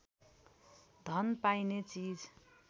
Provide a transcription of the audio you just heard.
धन पाइने चिज